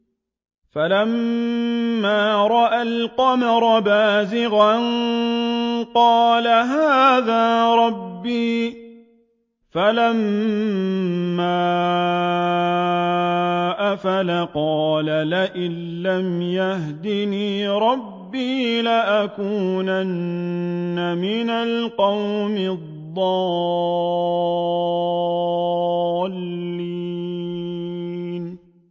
فَلَمَّا رَأَى الْقَمَرَ بَازِغًا قَالَ هَٰذَا رَبِّي ۖ فَلَمَّا أَفَلَ قَالَ لَئِن لَّمْ يَهْدِنِي رَبِّي لَأَكُونَنَّ مِنَ الْقَوْمِ الضَّالِّينَ